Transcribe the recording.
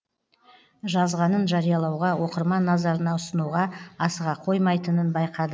жазғанын жариялауға оқырман назарына ұсынуға асыға қоймайтынын байқады